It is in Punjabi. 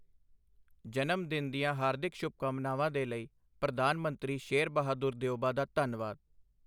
ਜਨਮ ਦਿਨ ਦੀਆਂ ਹਾਰਦਿਕ ਸ਼ੁਭ-ਕਾਮਨਾਵਾਂ ਦੇ ਲਈ ਪ੍ਰਧਾਨ ਮੰਤਰੀ ਸ਼ੇਰ ਬਹਾਦੁਰ ਦਿਉਬਾ ਦਾ ਧੰਨਵਾਦ।